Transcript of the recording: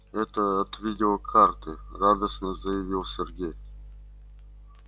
это от видеокарты радостно заявил сергей